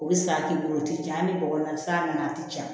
O bɛ sara k'i bolo o tɛ ja ni bɔgɔ ye sa nana a tɛ ja